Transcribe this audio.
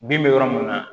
Bin bɛ yɔrɔ mun na